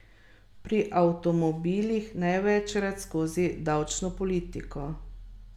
Pri avtomobilih največkrat skozi davčno politiko.